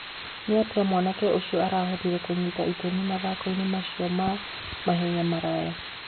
Nĩatia mwanake ũcio arahotire kũnyita itemi mathakoinĩ macio ma mahenya maraya.